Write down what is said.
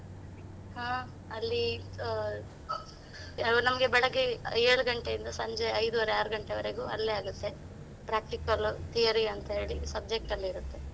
ಹಾ, ಅಲ್ಲಿ ಆ ಯಾರು ಬೆಳಿಗ್ಗೆ ಏಳು ಗಂಟೆಯಿಂದ ಸಂಜೆ ಐದೂವರೆ ಆರು ಗಂಟೆವರೆಗೂ ಅಲ್ಲೇ ಆಗುತ್ತೆ practical, theory ಅಂತ ಹೇಳಿ subject ಎಲ್ಲಾ ಇರುತ್ತೆ.